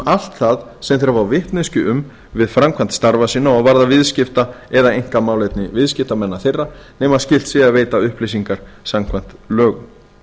allt það sem þeir fá vitneskju um við framkvæmd starfa sinna og varða viðskipta eða einkamálefni viðskiptamanna þeirra nema skylt sé að veita upplýsingar samkvæmt lögum